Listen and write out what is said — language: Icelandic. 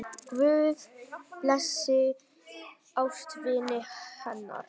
Guð blessi ástvini hennar.